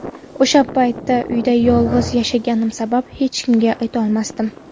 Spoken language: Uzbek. O‘sha payt uyda yolg‘iz yashaganim sabab hech kimga aytolmasdim.